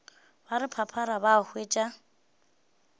ba re phaphara ba hwetša